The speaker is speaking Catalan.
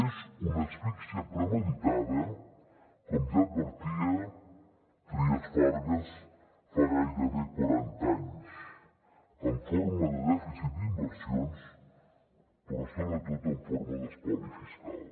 és una asfíxia premeditada com ja advertia trias fargas fa gairebé quaranta anys en forma de dèficit d’inversions però sobretot en forma d’espoli fiscal